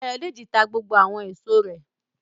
Ayọ̀dèjì ta gbogbo àwọn èso rẹ̀